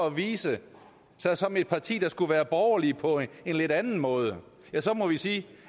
at vise sig som et parti der skulle være borgerligt på en lidt anden måde ja så må vi sige